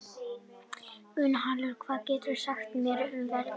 Gunnhallur, hvað geturðu sagt mér um veðrið?